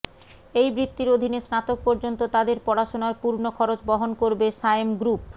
এই বৃত্তির অধীনে স্নাতক পর্যন্ত তাদের পড়াশোনার পূর্ণ খরচ বহন করবে সায়েম গ্রুপ